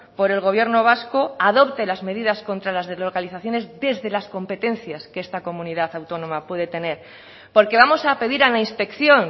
por el gobierno vasco adopte las medidas contra las deslocalizaciones desde las competencias que esta comunidad autónoma puede tener porque vamos a pedir a la inspección